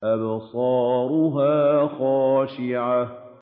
أَبْصَارُهَا خَاشِعَةٌ